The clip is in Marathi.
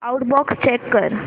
आऊटबॉक्स चेक कर